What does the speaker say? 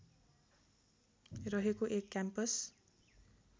रहेको एक क्याम्पस